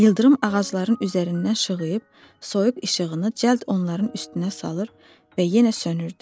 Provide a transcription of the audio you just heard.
İldırım ağacların üzərindən şığıyıb, soyuq işığını cəld onların üstünə salır və yenə sönürdü.